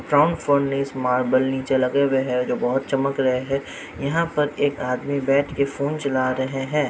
From furnish marble निचे लगे हुए है जो बहुत चमक रहे है यहां पर एक आदमी बैठ के फोन चला रहे है।